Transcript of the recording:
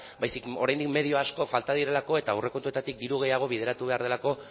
baizik eta oraindik medio asko falta direlako eta aurrekontuetatik diru gehiago bideratu behar delako